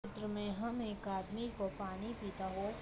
चित्र में हम एक आदमी को पानी पिता हुआ --